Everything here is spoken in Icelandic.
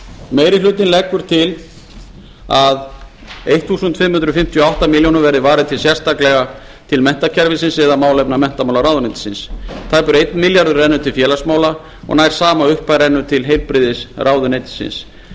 meiri hlutinn leggur hér til að fimmtán hundruð fimmtíu og átta milljónum verði varið sérstaklega til menntakerfisins eða málefna menntamálaráðuneytisins tæpur einn milljarður rennur til félagsmála og nær sama upphæð rennur til heilbrigðisráðuneytisins